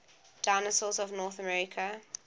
dinosaurs of north america